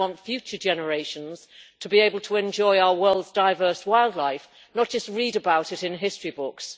I want future generations to be able to enjoy our world's diverse wildlife, not just read about it in history books.